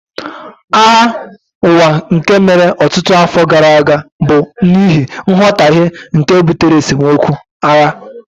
Agha Ụwa nke mere ọtụtụ afọ gara aga bụ n'ihi nghọtahie nke butere esemokwu (agha)